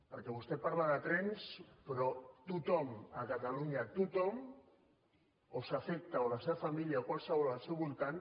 perquè vostè parla de trens però a tothom a catalunya a tothom o els afecta o a la seva família o a qualsevol al seu voltant